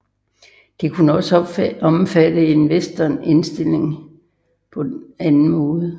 Det kunne også omfatte en Western indstilling på anden måde